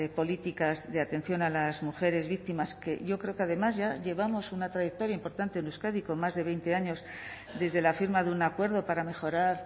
políticas de atención a las mujeres víctimas que yo creo que además llevamos una trayectoria importante en euskadi con más de veinte años desde la firma de un acuerdo para mejorar